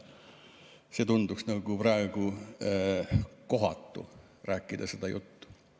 Praegu tunduks nagu kohatu rääkida seda juttu.